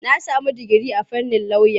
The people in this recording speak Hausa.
Na sami digiri a fannin lauya.